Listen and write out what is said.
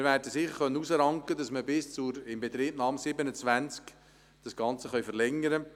Wir können sicher eine Verlängerung bis zur Inbetriebnahme 2027 erreichen.